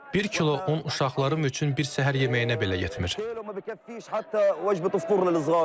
Bir kilo un uşaqlarım üçün bir səhər yeməyinə belə yetmir.